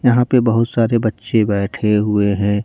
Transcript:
यहां पे बहुत सारे बच्चे बैठे हुए हैं।